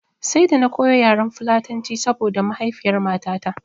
Sai da na koyo yaren fulatanci saboda mahaifiyar matata